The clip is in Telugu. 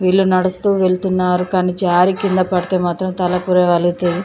వీళ్లు నడుస్తూ వెళ్తున్నారు కానీ కింద పడితే మాత్రం తల పుర్రె పగులుతది.